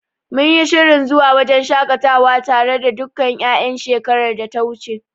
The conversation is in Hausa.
Mun yi shirin zuwa wajen shaƙatawa tare da dukkan ƴaƴan shekarar data wuce.